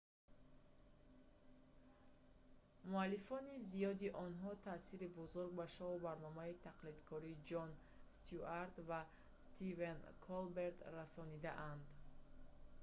муаллифони зиёди онҳо таъсири бузург ба шоу барномаи тақлидкорӣ ҷон стюарт ва стивен колберт расонидаанд